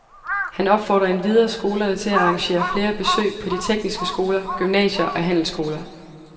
Han opfordrer endvidere skolerne til at arrangere flere besøg på de tekniske skoler, gymnasier og handelsskoler.